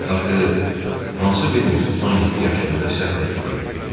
Axı hansı birimiz 17 yaşında səhv etməyib?